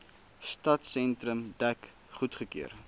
stadsentrum dek goedgekeur